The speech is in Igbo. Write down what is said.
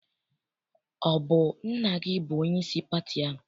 Ọ bụ nna gị bụ onyeisi pati ahụ?